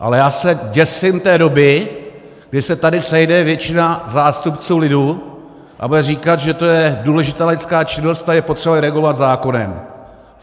Ale já se děsím té doby, kdy se tady sejde většina zástupců lidu a bude říkat, že to je důležitá laická činnost a je potřeba ji regulovat zákonem.